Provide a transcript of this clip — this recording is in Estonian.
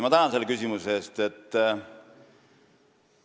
Ma tänan selle küsimuse eest!